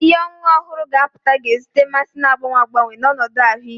Ihe ọṅụṅụ ọhụrụ ga-apụta, na-ezute mmasị na-agbanwe agbanwe na ọnọdụ ahụike.